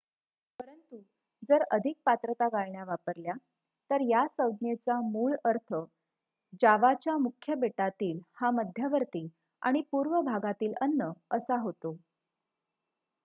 परंतु जर अधिक पात्रता गाळण्या वापरल्या तर या संज्ञेचा मूळ अर्थ जावाच्या मुख्य बेटातील हा मध्यवर्ती आणि पूर्व भागातील अन्न असा होतो